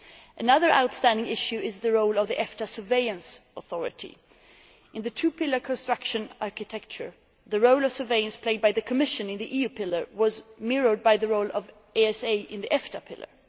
Another outstanding issue is the role of the EFTA Surveillance Authority. In the two pillar construction architecture, the role of surveillance played by the Commission in the EU pillar was mirrored by the role of the ESA in the EFTA pillar.